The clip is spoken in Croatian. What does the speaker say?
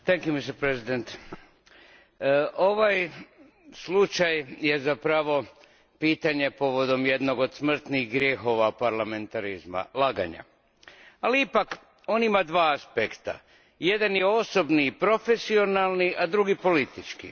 Gospodine predsjedavajući, ovaj slučaj je zapravo pitanje povodom jednog od smrtnih grijehova parlamentarizma laganja, ali ipak on ima dva aspekta. Jedan je osobni i profesionalni, a drugi politički.